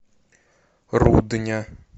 рудня